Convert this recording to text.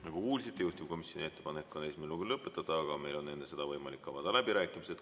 Nagu kuulsite, juhtivkomisjoni ettepanek on esimene lugemine lõpetada, aga meil on enne seda võimalik avada läbirääkimised.